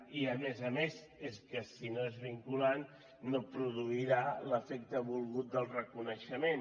i a més a més és que si no és vinculant no produirà l’efecte volgut del reconeixement